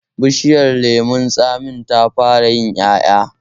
Bishiyar lemon tsamin ta fara yin ƴaƴa